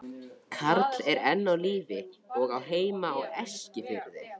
Karl er enn á lífi og á heima á Eskifirði.